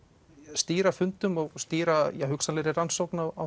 stýra fundum og stýra hugsanlegri rannsókn á